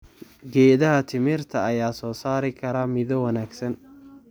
Geedaha timirta ayaa soo saari kara midho wanaagsan.